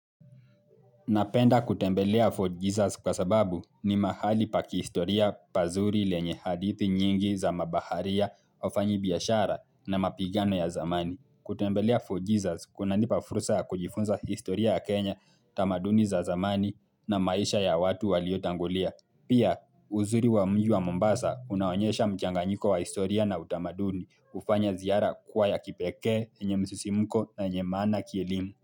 Napenda kutembelea For Jesus kwa sababu ni mahali paki historia pazuri lenye hadithi nyingi za mabaharia, wafanyi biyashara na mapigano ya zamani. Kutembelea Fort Jesus kuna nipa furusa ya kujifunza historia ya Kenya, tamaduni za zamani na maisha ya watu waliotangulia. Pia uzuri wa mji wa Mombasa unaonyesha mchanganyiko wa historia na utamaduni hufanya ziara kuwa ya kipekee, yenye msusimuko na yenye maana kielimu.